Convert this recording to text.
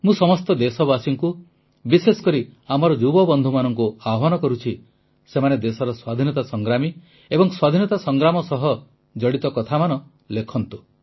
ମୁଁ ସମସ୍ତ ଦେଶବାସୀଙ୍କୁ ବିଶେଷକରି ଆମର ଯୁବବନ୍ଧୁମାନଙ୍କୁ ଆହ୍ୱାନ କରୁଛି ସେମାନେ ଦେଶର ସ୍ୱାଧୀନତା ସଂଗ୍ରାମୀ ଏବଂ ସ୍ୱାଧୀନତା ସଂଗ୍ରାମ ସହ ଜଡ଼ିତ କଥାମାନ ଲେଖନ୍ତୁ